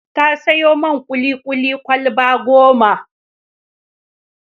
Ta sayo man kuli-kuli kwalaba goma.